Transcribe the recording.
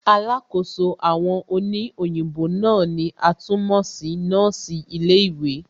Alákòóso àwọn òní òyìnbó náà ni a tún mọ̀ sí nọ́ọ̀sì ilé ìwé